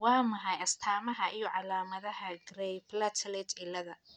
Waa maxay astamaha iyo calaamadaha Gray platelet ciilada?